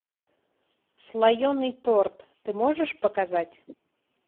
слоеный торт ты можешь показать